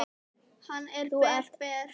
Hann er ber, ber.